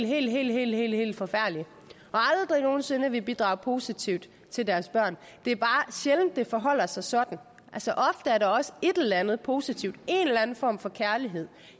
helt helt helt forfærdelige og aldrig nogen sinde vil bidrage positivt til deres børn det er bare sjældent det forholder sig sådan ofte er der også et eller andet positivt en eller anden form for kærlighed